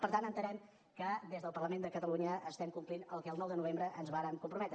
per tant entenem que des del parlament de catalunya estem complint el que el nou de novembre ens vàrem comprometre